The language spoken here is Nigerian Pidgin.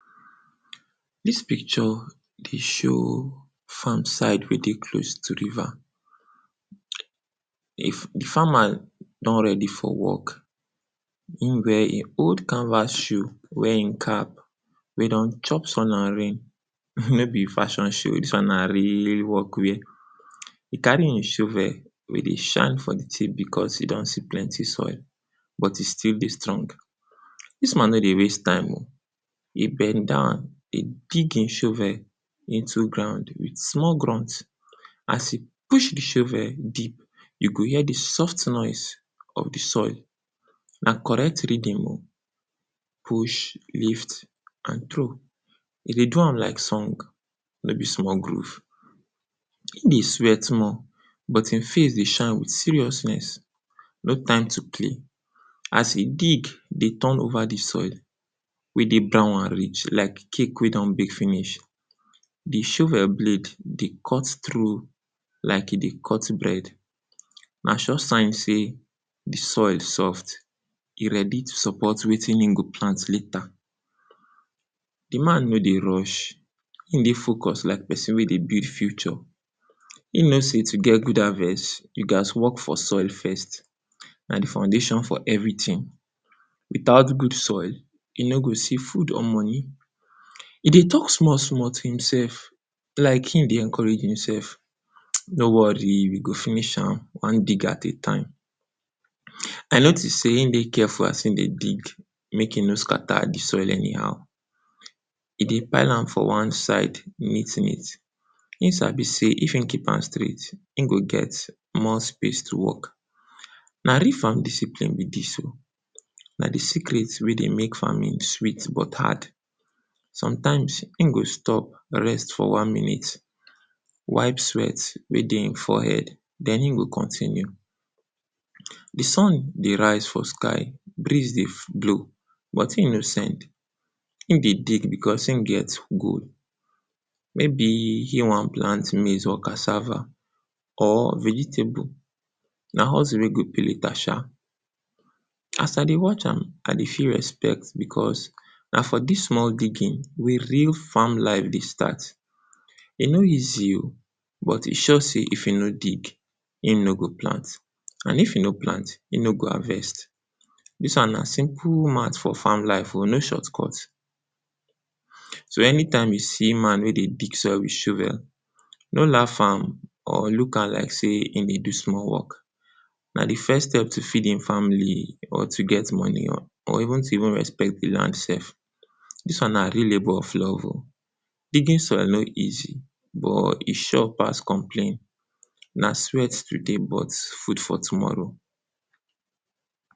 Dis picture dey show farm side wey dey close to river. If, di farmer don ready for work, im wear im old canvas shoe, wear e cap wey don chop sun and rain, no be fashion shoe, dis one na really work wear, e carry im shovel wey dey shine for di tip because e don see plenty soil, but e still dey strong. Dis man no dey waste time o, e bend down, im dig e shovel into ground wit small grunt, as e push di shovel deep, you go hear di soft noise of di soil, na correct rhythm o, push, lift and trow. E dey turn like song, no be small groove. E dey sweat more, but e face dey shine wit seriousness, no time to play. As e dig, dey turn over di soil wey dey brown and rich like cake wey don bake finish, di shovel blade dey cut trough like e dey cut bread. Na sure sign sey di soil soft, e ready to support wetin im go plant later. Di man no dey rush, im dey focus like person wey dey build future, im know sey to get good harvest, you gat work for soil first, na di foundation for everytin. Without good soil, you no go see food or money. E dey talk small small tin sef, like im dey encourage himself, no worry we go finish am, one dig at a time. I notice sey im dey careful as im dey dig, mek e no scatter di soil anyhow. E dey pile am for one side neat neat, im sabi sey if im keep am straight im go get more space to work. Na real farm discipline be dis o, na di secret wey dey make farming sweet but hard. Sometimes im go stop, rest for one minute, wipe sweat wey dey im forehead, den im go kon continue. Di sun dey rise for sky, breeze dey blow but im no send, im dey dig because im get goal. Maybe im wan plant maize or cassava, or vegetable, na hustle wey go pay later sha. As I dey watch am, I dey feel respect, because na for dis small digging wil real farm life dey start, e no easy o, but e sure sey if im no dig, im no go plant, and if im no plant, im no go harvest. Dis one na simple mat for farm life o, no short cut. So, any time you see man wey dey dig soil wit shovel, no laugh am or look am like sey im dey do small work. Na di first step to feed e family or to get money o or even to even respect di land sef. Dis one na real labor of love o, digging soil nor easy, but e sure pass complain. Na sweat today, but food for tomorrow.